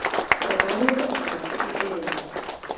Með aríur okkar í eyrunum.